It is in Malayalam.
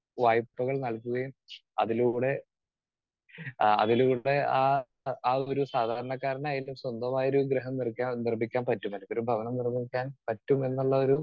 സ്പീക്കർ 2 വായ്പകൾ നൽകുകയും അതിലൂടെ ആഹ് അതിലൂടെ ആ ഒരു സാധാരണക്കാരനായാലും സ്വന്തമായൊരു ഗൃഹം നിർക്കാ, നിർമ്മിക്കാൻ പറ്റും എനിക്കൊരു ഭവനം നിർമ്മിക്കാൻ പറ്റും എന്നുള്ളൊരു